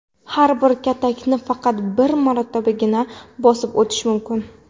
Har bir katakni faqat bir marotabagina bosib o‘tish mumkin.